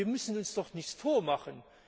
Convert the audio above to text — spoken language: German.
Wir müssen uns doch nichts vormachen.